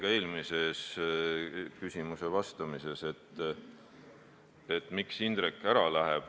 Ja sellele ma vastasin ka eelmise küsimuse vastuses.